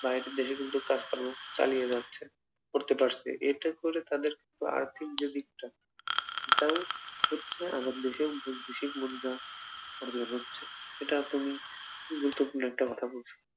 বাইরের দেশে কিন্তু কাজকর্ম চালিয়ে যাচ্ছে, করতে পারছে এতে করে তাদের আর্থিক যে দিকটা সেটাও হচ্ছে আবার দেশেও বৈদেশিক মুদ্রা উপার্জন হচ্ছে এটা তুমি গুরুত্বপূর্ণ একটা কথা বলছো